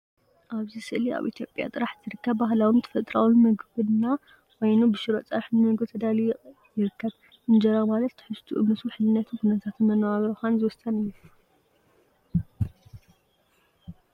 ኣብዚ ስእሊ ኣብ ኢትዮጵያ ጥራሕ ዝርከብ ባህላውን ተፈጥሮአውን መግብና ኮይኑ ብሽሮ ፀብሒ ንመግቢ ተዳልዩ ይርከብ። እንጀራ ማለት ትሕዝትኡ ምስ ውሕልነትን ኩነታት መነባብሮኻን ዝውሰን እዩ።